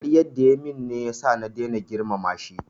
Karyan da ya yi min ne ya sa na daina girmama shi